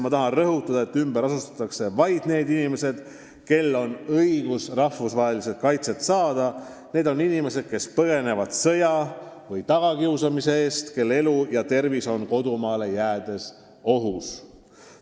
Ma tahan rõhutada, et ümber asustatakse vaid need inimesed, kel on õigus rahvusvaheliselt kaitset saada – need on inimesed, kes põgenevad sõja või tagakiusamise eest, kelle elu ja tervis oleks nende kodumaal ohus.